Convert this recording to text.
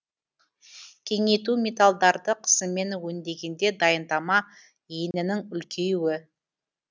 кеңейту металдарды қысыммен өндегенде дайындама енінің үлкеюі